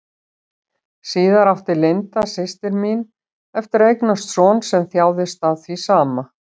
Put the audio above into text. Síðar átti Linda, systir mín, eftir að eignast son sem þjáðist af því sama.